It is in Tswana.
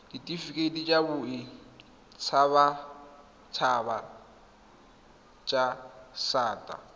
ditifikeiti tsa boditshabatshaba tsa disata